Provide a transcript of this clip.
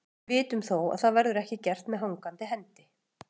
Við vitum þó að það verður ekki gert með hangandi hendi.